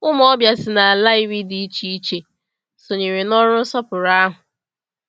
Ụmụ ọbịa si n’ala iri dị iche iche sonyere n’ọrụ nsọpụrụ ahụ.